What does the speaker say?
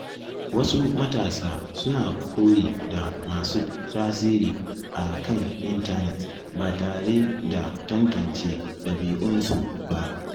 Wasu matasa suna koyi da masu tasiri a kan intanet ba tare da tantance dabi’unsu ba.